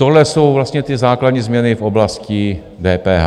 Tohle jsou vlastně ty základní změny v oblasti DPH.